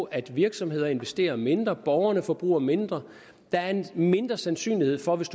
at virksomheder investerer mindre borgere forbruger mindre der er en mindre sandsynlighed for hvis